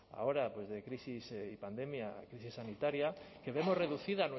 ahora de crisis y pandemia crisis sanitaria que vemos reducida